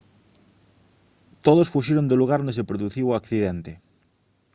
todos fuxiron do lugar onde se produciu o accidente